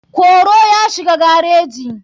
koro ya shiga gareji.